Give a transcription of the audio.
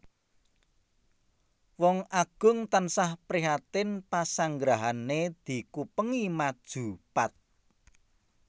Wong Agung tansah prihatin pasanggrahané dikupengi maju pat